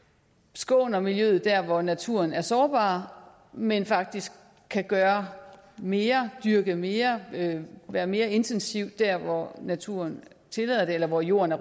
skåner miljøet der hvor naturen er sårbar men faktisk kan gøre mere dyrke mere være mere intensiv der hvor naturen tillader det eller hvor jorden